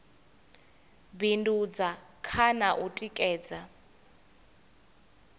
bindudza kha na u tikedza